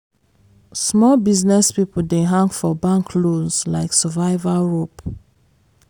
small business people dey hang for bank loans like survival rope.